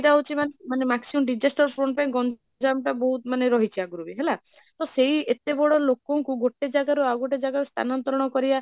ଟା ହଉଛି ମାନେ, ମାନେ maximum disaster zone ପାଇଁ ଗଣ୍ୟମ ଟା ବହୁତ ରହିଛି ଆଗରୁ ବି ହେଲା, ତ ସେଇ ଏତେ ବଡ଼ ଲୋକଙ୍କୁ ଗୋଟେ ଜଗରୁ ଆଉ ଗୋଟେ ଜାଗାକୁ ସ୍ଥାନତ୍ରଣ କରିବା